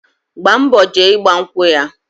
Gba mbo jee igba nkwụ ya.